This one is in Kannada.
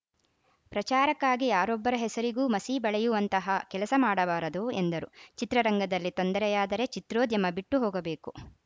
ಪ್ರಚಾರಕ್ಕಾಗಿ ಯಾರೊಬ್ಬರ ಹೆಸರಿಗೂ ಮಸಿ ಬಳಿಯುವಂತಹ ಕೆಲಸ ಮಾಡಬಾರದು ಎಂದರು ಚಿತ್ರರಂಗದಲ್ಲಿ ತೊಂದರೆಯಾದರೆ ಚಿತ್ರೋದ್ಯಮ ಬಿಟ್ಟು ಹೋಗಬೇಕು